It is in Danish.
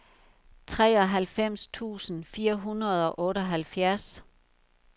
treoghalvfems tusind fire hundrede og otteoghalvfjerds